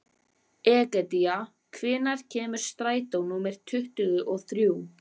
Egedía, hvenær kemur strætó númer tuttugu og þrjú?